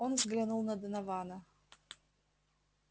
он взглянул на донована